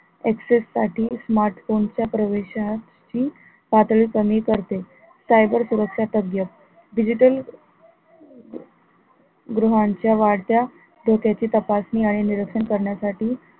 access साठी smartphone च्या प्रवेशा ची पातळी कमी करते cyber सुरक्षा तज्ञ् digital ग्रहांच्या वाढत्या धोक्याची तपासणी आणि निरक्षण करण्यासाठी